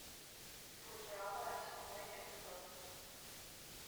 футурама седьмой эпизод